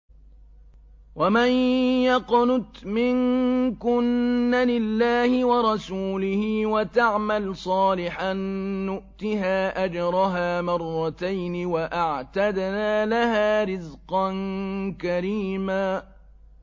۞ وَمَن يَقْنُتْ مِنكُنَّ لِلَّهِ وَرَسُولِهِ وَتَعْمَلْ صَالِحًا نُّؤْتِهَا أَجْرَهَا مَرَّتَيْنِ وَأَعْتَدْنَا لَهَا رِزْقًا كَرِيمًا